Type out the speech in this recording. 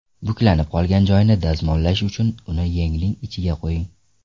Buklanib qolgan joyini dazmollash uchun uni yengning ichiga qo‘ying.